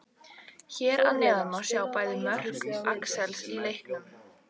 Hér að neðan má sjá bæði mörk Axels í leiknum.